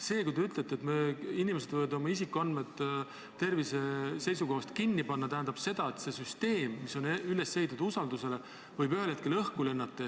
See, kui te ütlete, et inimesed võivad oma tervisega seotud isikuandmed kinni panna, tähendab seda, et see süsteem, mis on üles ehitatud usaldusele, võib ühel hetkel õhku lennata.